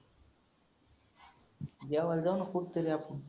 जेवायला जाऊ ना कुठंतरी आपण.